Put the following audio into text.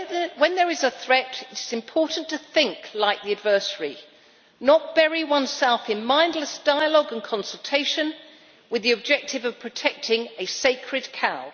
When there is a threat, it is important to think like the adversary and not bury oneself in mindless dialogue and consultation with the objective of protecting a sacred cow.